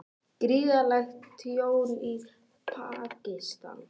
Gríðarlegt tjón í Pakistan